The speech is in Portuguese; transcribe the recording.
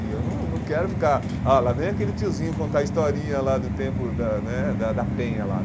E eu não não quero ficar... Ah, lá vem aquele tiozinho contar a historinha lá do tempo da né da da penha lá.